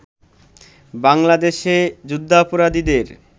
বাংলাদেশে যুদ্ধাপরাধীদের